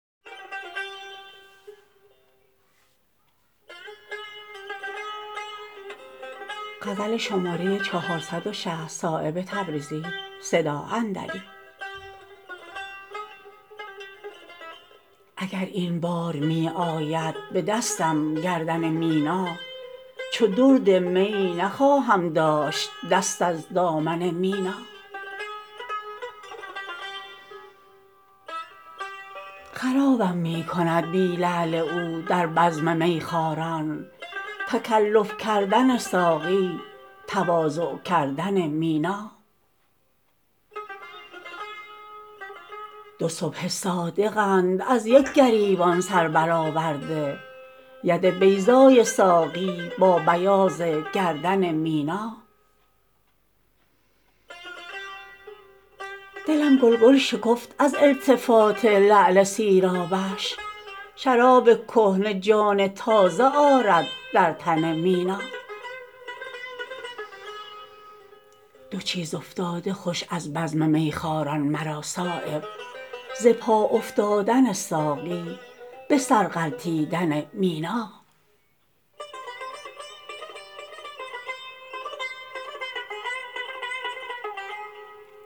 اگر این بار می آید به دستم گردن مینا چو درد می نخواهم داشت دست از دامن مینا خرابم می کند بی لعل او در بزم میخواران تکلف کردن ساقی تواضع کردن مینا دو صبح صادقند از یک گریبان سربرآورده ید بیضای ساقی با بیاض گردن مینا دلم گلگل شکفت از التفات لعل سیرابش شراب کهنه جان تازه آرد در تن مینا دو چیز افتاده خوش از بزم میخواران مرا صایب ز پا افتادن ساقی به سر غلطیدن مینا